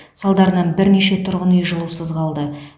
салдарынан бірнеше тұрғын үй жылусыз қалды